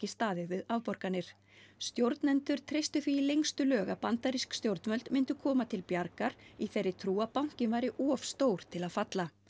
staðið við afborganir stjórnendur treystu því í lengstu lög að bandarísk stjórnvöld myndu koma til bjargar í þeirri trú að bankinn væri of stór til að falla